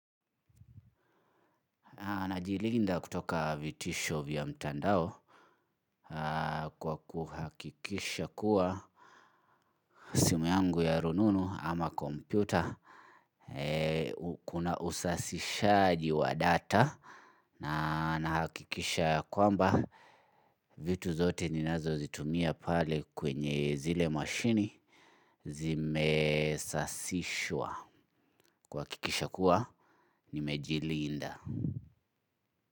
Najilinda kutoka vitisho vya mtandao kwa kuhakikisha kuwa simu yangu ya rununu ama kompyuta. Kuna usasishaji wa data na nahakikisha ya kwamba vitu zote ninazozitumia pale kwenye zile mwashini zimesasishwa kuhakikisha kuwa nimejilinda.